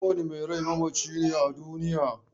Kowane mai rai mamaci ne a duniya.